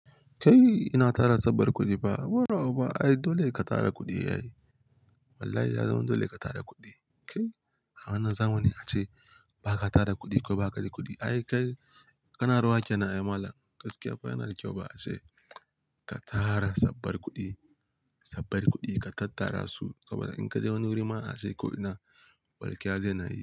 Kai ina tara sabbar kuɗi ba, bura oba ai dole ka tara kuɗi ai. Wallahi ya zama dole ka tara kuɗi. Kai a wannan zamani ace ba ka tara kuɗi ko ba kada kuɗi. Ai kai ƙanaruwa kenan ai malam, gaskiya fa yana da kyau ba a ce ka tara sabbar kuɗi, sabbar kuɗi ka tattara su saboda in ka je wani wuri ma ashe kuɗi na barkiya zai na yi.